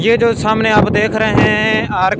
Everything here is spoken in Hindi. ये जो सामने आप देख रहे हैं आर--